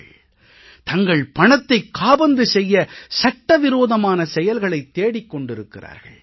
அவர்கள் தங்கள் பணத்தைக் காபந்து செய்ய சட்ட விரோதமான செயல்களைத் தேடிக் கொண்டிருக்கிறார்கள்